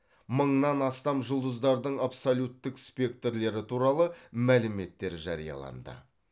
мыңнан астам жұлдыздардың абсолюттік спектрлері туралы мәліметтер жарияланды